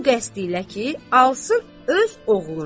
Bu qəst ilə ki, alsın öz oğluna.